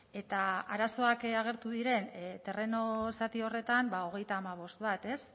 eta arazoak agertu diren terreno zati horretan ba hogeita hamabost bat ez